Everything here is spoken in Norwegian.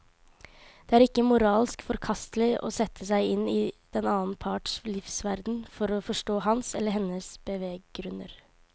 Det er ikke moralsk forkastelig å sette seg inn i den annen parts livsverden for å forstå hans eller hennes beveggrunner.